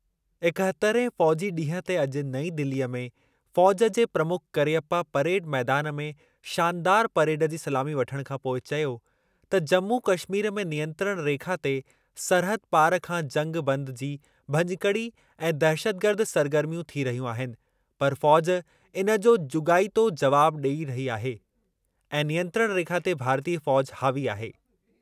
एकहतरहें फ़ौज़ी ॾींहुं ते अॼु नईं दिलीअ में फ़ौज़ जे प्रमुख करियप्पा परेड मैदानि में शानदारु परेड जी सलामी वठणु खां पोइ चयो त जम्मू कश्मीर में नियंत्रण रेखा ते सरहद पार खां जंगि बंदि जी भञकड़ी ऐं दहशतगर्द सरगर्मियूं थी रहियूं आहिनि पर फ़ौज़ इन जो जुॻाइतो ज़वाब ॾेई रही आहे ऐं नियंत्रण रेखा ते भारतीय फ़ौज़ हावी आहे।